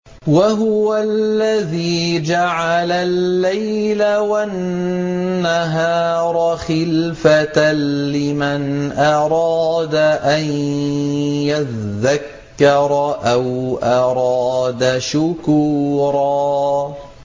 وَهُوَ الَّذِي جَعَلَ اللَّيْلَ وَالنَّهَارَ خِلْفَةً لِّمَنْ أَرَادَ أَن يَذَّكَّرَ أَوْ أَرَادَ شُكُورًا